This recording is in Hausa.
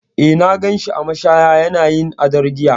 Eh, na gan shi a mashaya yana yin odar giya.